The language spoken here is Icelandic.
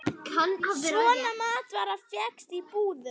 Svona matvara fékkst í búðum.